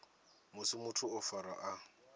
musi muthu o farwa a